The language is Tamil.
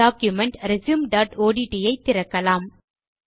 டாக்குமென்ட் resumeஒட்ட் ஐ திறக்கலாம்